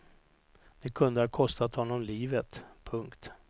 Det kunde ha kostat honom livet. punkt